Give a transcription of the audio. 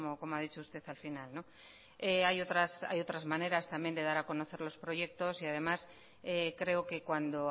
como ha dicho usted al final hay otras maneras también de dar a conocer los proyectos y además creo que cuando